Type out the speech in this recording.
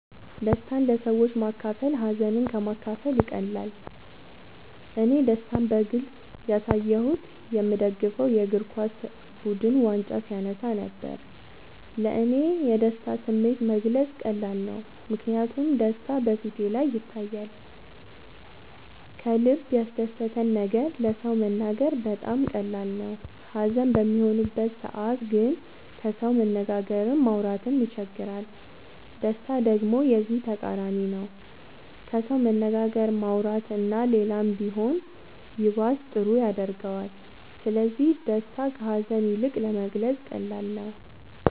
ደስታን ለሰዎች ማካፈል ሀዘንን ከ ማካፈል ይቀላል እኔ ደስታን በግልፅ ያሳየሁት የ ምደግፈው የ እግርኳስ ቡድን ዋንጫ ሲያነሳ ነበር። ለ እኔ የደስታን ስሜት መግለፅ ቀላል ነው ምክንያቱም ደስታ በ ፊቴ ላይ ይታያል ከልበ ያስደሰተን ነገር ለ ሰው መናገር በጣም ቀላል ነው ሀዘን በሚሆንበት ሰዓት ግን ከሰው መነጋገርም ማውራት ይቸግራል ደስታ ደሞ የዚ ተቃራኒ ነው ከሰው መነጋገር ማውራት እና ሌላም ቢሆን ይባስ ጥሩ ያረገዋል ስለዚ ደስታ ከ ሀዛን ይልቅ ለመግለፃ ቀላል ነው።